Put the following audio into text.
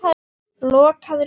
Lokaður gluggi.